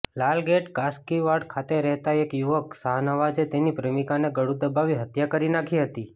લાલગેટ કાસકીવાડ ખાતે રહેતા એક યુવક શાહનવાજે તેની પ્રેમીકાની ગળુ દબાવી હત્યા કરી નાખી હતી